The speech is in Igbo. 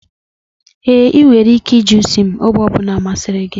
Ee, ị nwere ike iji isi m oge ọ bụla masịrị gị.